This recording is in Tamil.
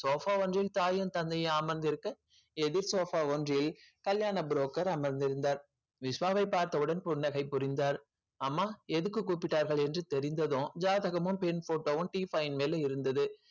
sofa ஒன்றில் தாயும் தந்தையும் அமர்ந்திருக்க எதிர் sofa ஒன்றில் கல்யாண broker அமர்ந்திருந்தார் விஷ்வாவை பார்த்தவுடன் புன்னகை புரிந்தார் அம்மா எதுக்கு கூப்பிட்டார்கள் என்று தெரிந்ததும் ஜாதகமும் பெண் photo வும் டீபாய் மேல் இருந்தது